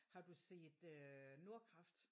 Har du set øh Nordkraft?